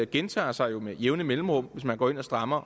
gentager sig jo med jævne mellemrum hvis man går ind og strammer